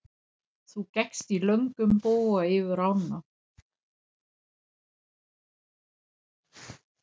Þú gekkst í löngum boga yfir ána.